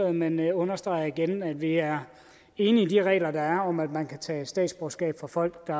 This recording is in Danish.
men understreger igen at vi er enige i de regler der er om at man kan tage statsborgerskab fra folk der